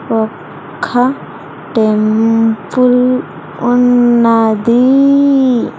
ఒక్క టెంపుల్ ఉన్నది.